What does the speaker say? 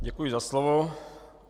Děkuji za slovo.